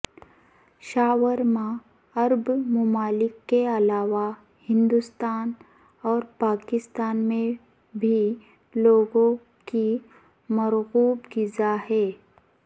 شاورما عرب ممالک کے علاوہ ہندوستان اور پاکستان میں بھی لوگوں کی مرغوب غذا ہے